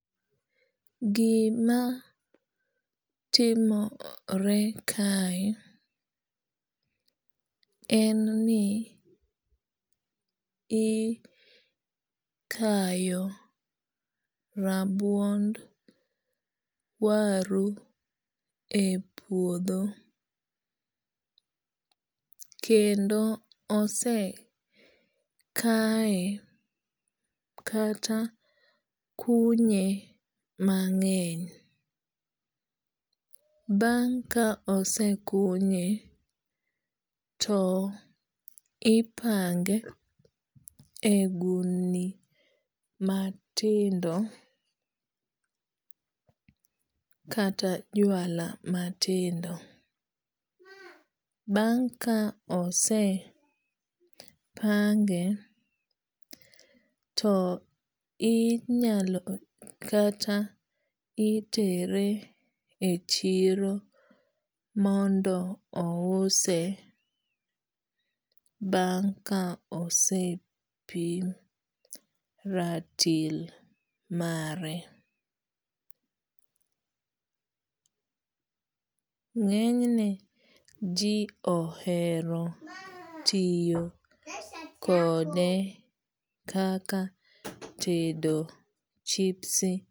Gima timore kae en ni ikayo rabuon waru e puodho. Kendo ose kaye kata kunye mang'eny. Bang' ka osekunye to ipange e gundni matindo kata jwala matindo. Bang' ka osepange to inyalo kata itere e chiro mondo ouse bang' ka osepim ratil mare. Ng'enyne ji ohero tiyo kode kaka tedo chipsi.